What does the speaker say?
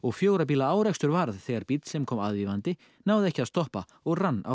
fjögurra bíla árekstur varð þegar bíll sem kom aðvífandi náði ekki að stoppa og rann á